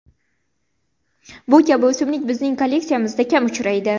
Bu kabi o‘simlik bizning kolleksiyamizda kam uchraydi.